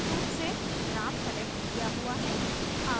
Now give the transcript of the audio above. default रूप से graph select किया हुआ है